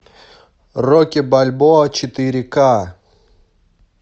рокки бальбоа четыре ка